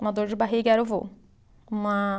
Uma dor de barriga era o vô. Uma